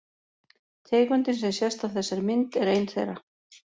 Tegundin sem sést á þessari mynd er ein þeirra.